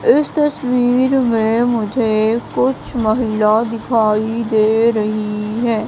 इस तस्वीर में मुझे कुछ महिला दिखाई दे रही है।